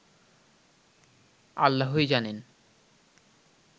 আল্লাহই জানেন”